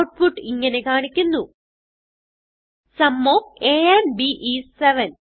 output ഇങ്ങനെ കാണിക്കുന്നു sum of a and b is 7